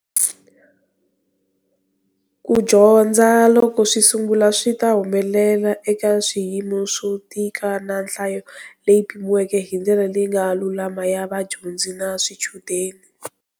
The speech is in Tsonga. Ku dyondza, loko swi sungula, swi ta humelela eka swiyimo swo tika na nhlayo leyi pimiweke hi ndlela leyi nga lulama ya vadyondzi na swichudeni.